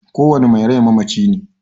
kowane mai rai mamaci ne.